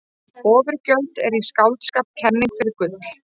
Oturgjöld eru í skáldskap kenning fyrir gull.